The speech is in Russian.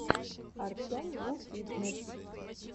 артемвуфитнесс